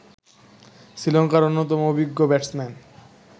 শ্রীলঙ্কার অন্যতম অভিজ্ঞ ব্যাটসম্যান